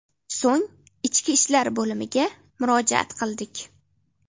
So‘ng ichki ishlar bo‘limiga murojaat qildik.